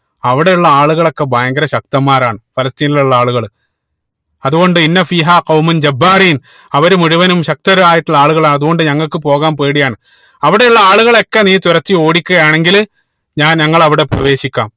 അവിടെ ഉള്ള ആളുകളൊക്കെ ഭയങ്കര ശക്തന്മാരാണ് ഫലസ്‌തീൻ ഉള്ള ആളുകൾ അതുകൊണ്ട് അവര് മുഴുവനും ശക്തരായിട്ടുള്ള ആളുകളാണ് അതുകൊണ്ട് ഞങ്ങൾക്ക് പോകാൻ പേടിയാണ് അവിടെ ഉള്ള ആളുകളൊക്കെ നീ തുരത്തി ഓടിക്കുകയാണെങ്കിൽ ഞാ ഞങ്ങൾ അവിടെ പ്രവേശിക്കാം